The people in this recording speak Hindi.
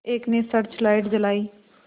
एक ने सर्च लाइट जलाई